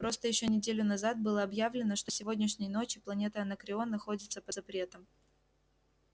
просто ещё неделю назад было объявлено что с сегодняшней ночи планета анакреон находится под запретом